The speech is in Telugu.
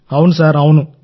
అవును సార్ అవును